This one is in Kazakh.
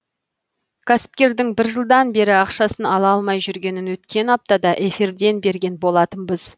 кәсіпкердің бір жылдан бері ақшасын ала алмай жүргенін өткен аптада эфирден берген болатынбыз